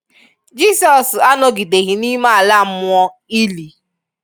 Jisọs anọ̀gìdeghị n’ime ala mmụọ / ìlì!